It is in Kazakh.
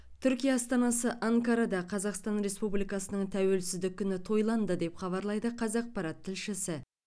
түркия астанасы анкарада қазақстан республикасының тәуелсіздік күні тойланды деп хабарлайды қазақпарат тілшісі